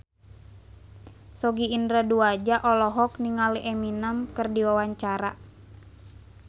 Sogi Indra Duaja olohok ningali Eminem keur diwawancara